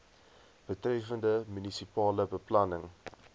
betreffende munisipale beplanning